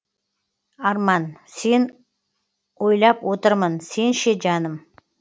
арман сені ойлап отырмын сен ше жаным